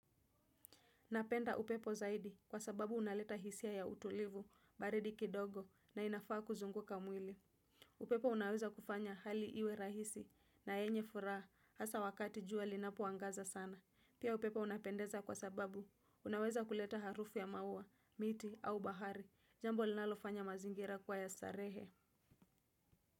Napenda upepo zaidi kwa sababu unaleta hisia ya utulivu, baridi kidogo na inafaa kuzunguka mwili. Upepo unaweza kufanya hali iwe rahisi na yenye furaha hasa wakati jua linapoangaza sana. Pia upepo unapendeza kwa sababu unaweza kuleta harufu ya maua, miti au bahari. Jambo linalofanya mazingira kuwa ya starehe.